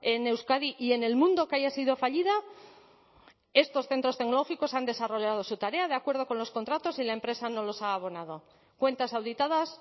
en euskadi y en el mundo que haya sido fallida estos centros tecnológicos han desarrollado su tarea de acuerdo con los contratos y la empresa no los ha abonado cuentas auditadas